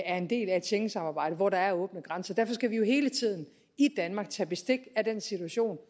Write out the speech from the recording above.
er en del af et schengensamarbejde hvor der er åbne grænser derfor skal vi jo hele tiden i danmark tage bestik af den situation